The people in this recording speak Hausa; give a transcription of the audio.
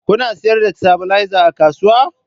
Kuna sayar da stabilizer a kasuwa?